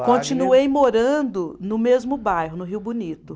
Continuei morando no mesmo bairro, no Rio Bonito.